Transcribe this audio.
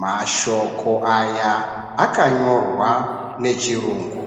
Mashoko aya akanyorwa nechirungu.